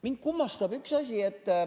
Mind kummastab üks asi.